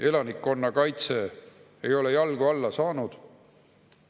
Elanikkonnakaitse ei ole jalgu alla saanud.